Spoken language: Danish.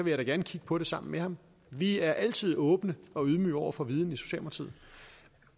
jeg da gerne kigge på det sammen med ham vi er altid åbne og ydmyge over for viden